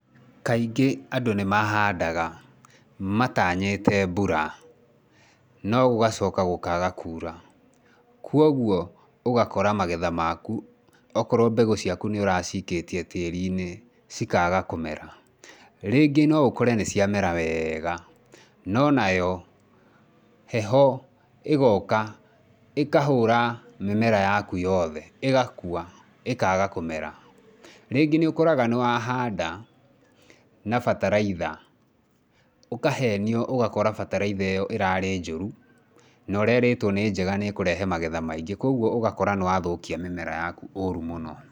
Kaingĩ andũ nĩ mahandaga mataanyĩte mbura no gũgacoka gũkaaga kuura, kwoguo ũgakora magetha maku, okorwo mbegũ nĩ ũraciikĩtie tĩĩri-inĩ cikaaga kũmera. Rĩngĩ no ũkore nĩ ciamera wega no nayo heho ĩgooka, ĩkahũra mĩmera yaku yothe ĩgakua, ĩkaaga kũmera. Rĩngĩ nĩ ũkoraga nĩ wahanda na bataraitha, ũkahenio ũgakora bataraitha ĩyo ĩrarĩ njũru, na ũraĩrĩtwo nĩ njega, nĩ ĩkũrehe magetha maingĩ, kwoguo ũgakora nĩ wathũkia mĩmera yaku ũru mũno.